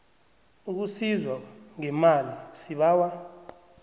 ukusizwa ngemali sibawa